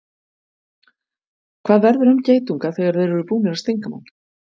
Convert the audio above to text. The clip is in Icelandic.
Hvað verður um geitunga þegar þeir eru búnir að stinga mann?